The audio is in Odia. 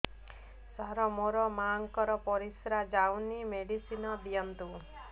ସାର ମୋର ମାଆଙ୍କର ପରିସ୍ରା ଯାଉନି ମେଡିସିନ ଦିଅନ୍ତୁ